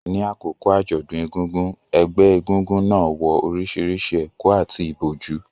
Ní àkókò àjọ̀dún egúngún, ẹgbẹ́ egúngún náà wọ orísìírísìí ẹ̀kú àti ìbòjú,